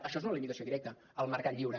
això és una limitació directa al mercat lliure